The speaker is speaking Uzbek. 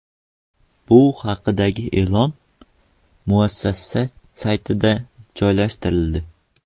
Bu haqdagi e’lon muassasa saytida joylashtirildi .